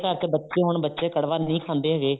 ਘਰ ਚ ਬੱਚੇ ਹੋਣ ਬੱਚੇ ਕੜਵਾ ਨਹੀਂ ਖਾਂਦੇ ਹੈਗੇ